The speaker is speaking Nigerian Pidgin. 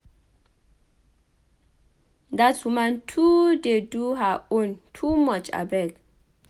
Dat woman too dey do her own too much abeg.